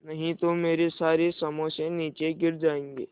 नहीं तो मेरे सारे समोसे नीचे गिर जायेंगे